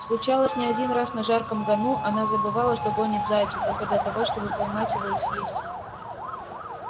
случалось не один раз на жарком гону она забывала что гонит зайца только для того чтобы поймать его и съесть